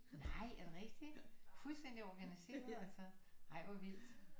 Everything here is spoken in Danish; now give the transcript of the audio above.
Nej er det rigtigt fuldstændig organiseret altså ej hvor vildt